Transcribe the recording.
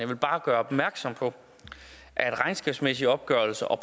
vil bare gøre opmærksom på at regnskabsmæssige opgørelser og